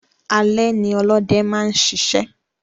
Alé ní olóde máa n sisẹ́